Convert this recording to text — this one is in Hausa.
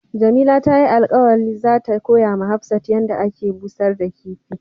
Jamila ta yi alkawali za ta koya ma Hafsat yan da ake bushar da kifi.